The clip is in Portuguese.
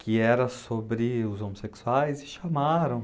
que era sobre os homossexuais e chamaram.